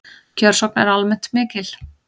Kjörsókn er almennt mikil